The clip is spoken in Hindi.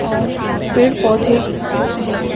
और पेड़ पौधे दिख रहे हैं।